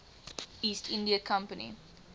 east india company